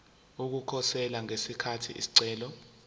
ukukhosela ngesikhathi isicelo